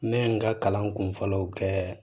Ne ye n ka kalan kun fɔlɔw kɛ